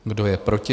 Kdo je proti?